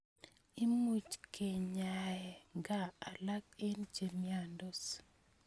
Imuch kenyae kaa alak eng' che miandos